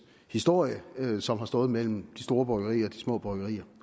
historie som har stået mellem de store bryggerier og de små bryggerier